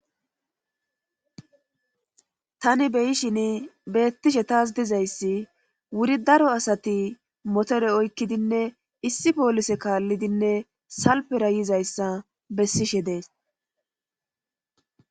Tani beyishin beettishe taas dizayssi wuri daro asati motore oykkidinne issi poolise kaallidinne salpera yizayssa bessishe dees.